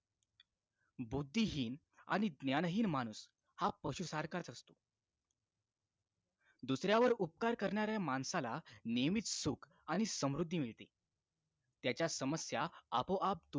बुद्धीहीन आणि ज्ञानहीन माणूस हा पशु सारखाच असतो दुसऱ्यावर उपकार करणाऱ्या माणसाला नेहमीच शूक आणि समृद्धी मिळते त्याचा समस्या आपोआप दूर